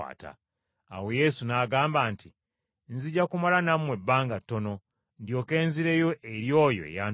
Awo Yesu n’agamba nti, “Nzija kumala nammwe ebbanga ttono, ndyoke nzireyo eri oyo eyantuma.